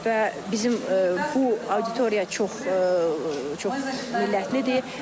Və bizim bu auditoriya çox millətlidir.